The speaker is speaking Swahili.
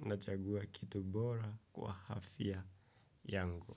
nachagua kitu bora kwa afya yangu.